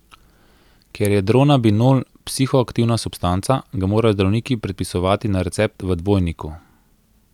Ker je Dronabinol psihoaktivna substanca, ga morajo zdravniki predpisovati na recept v dvojniku.